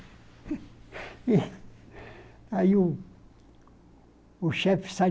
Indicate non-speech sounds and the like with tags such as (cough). (laughs) E aí o o chefe sai